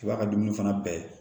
I b'a ka dumuni fana bɛɛ